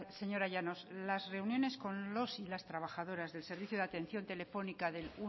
señora llanos las reuniones con los y las trabajadoras del servicio de atención telefónica del